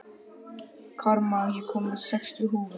Karma, ég kom með sextíu húfur!